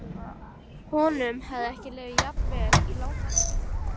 Honum hafði ekki liðið jafn vel í langan tíma.